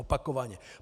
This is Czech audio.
Opakovaně.